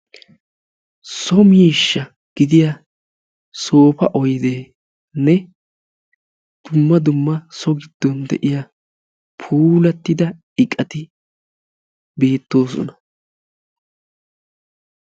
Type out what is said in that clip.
So miishsha gidiya soofa oyddenne duma dumma so gido buquratti beetosonna.